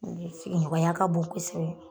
sigiɲɔgɔnya ka bon kosɛbɛ